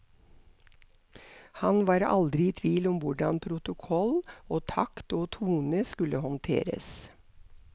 Han var aldri i tvil om hvordan protokoll og takt og tone skulle håndteres.